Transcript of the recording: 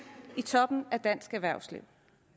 i toppen af dansk erhvervsliv